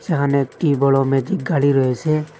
এখানে একটি বড়ো ম্যাজিক গাড়ি রয়েসে ।